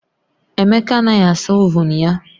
Emeka anaghị asa ovuun ya